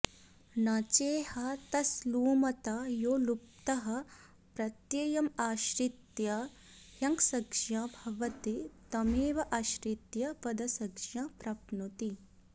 न चेह तस् लुमता यो लुप्तः प्रत्यमाश्रित्याह्गसंज्ञा भवति तमेवाश्रित्य पदसंज्ञा प्राप्नोति